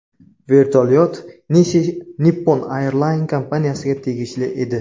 Vertolyot Nishi Nippon AirLine kompaniyasiga tegishli edi.